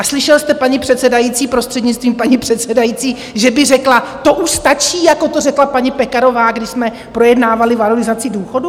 A slyšel jste paní předsedající, prostřednictvím paní předsedající, že by řekla: To už stačí, jako to řekla paní Pekarová, když jsme projednávali valorizaci důchodů?